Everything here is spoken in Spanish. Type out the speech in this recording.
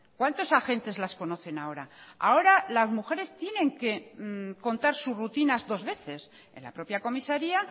cuántos agentes las conocen ahora ahora las mujeres tienen que contar sus rutinas dos veces en la propia comisaría